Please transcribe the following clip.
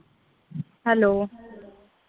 Hello